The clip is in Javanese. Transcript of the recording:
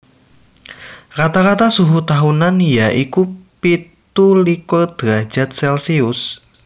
Rata rata suhu tahunan ya iku pitu likur drajad celsius